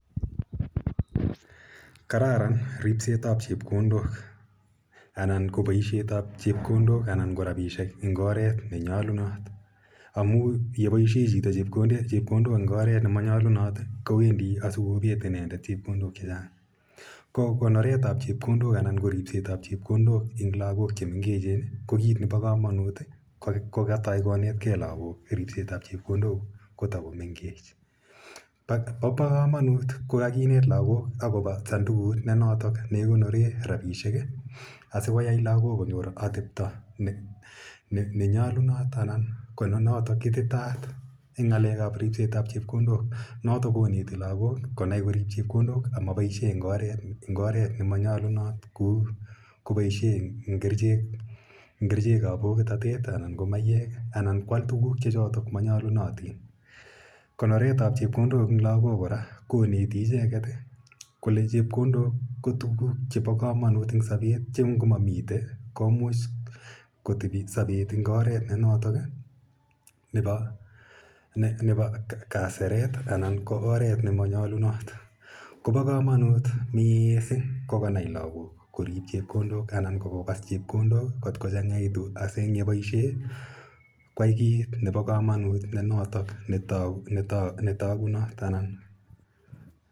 Kararan ripsetap chepkondok anan ko paishet ap chepkondok anan ko rapisiek eng' oret ne nyalunat amu ye paishe chito chepkondok eng' oret ne manyalunat ko wendi asikopet inendet chepkondok che chang'. Ko konoret ap chepkondok anan ko ripset ap chepkondok eng' lagok che mengechen ko kiit ne pa kamanut ko katai konet gei lagok ripset ap chepkondok ko tako mengech. Pa kamanut ko kakinet lagok akopa sandukut ne notok ne kikonore rapishek asikoyai lagok konyor atepta ne nyalunot anan ko ne notok ititaat eng' ng'alek ap ripset ap chepkondok notok koneti lagok konai korip chepkondok anan ko paishe eng' oret ne ma nyalunot kou kopaishe eng' kerichek ap pokitatet anan ko maiyek anan ko al tuguk che chotok ma nyalunotin. Konoret ap chepkondok eng lagok kora koneti icheget kole chepkondok ko tuguk che pa kamanut eng' sapet che ngo mamite komuch kotepi sapet eng' oret ne notok nepa kaseret anan ko oret ne manyalunot. Ko pa kamanut missing' ko kanai lagok korip chepkondok anan ko kopas chepkondok kot kochag'aitu asi ang' ye chang'a koyai kiit nepa kamanut ne notok ne takunat.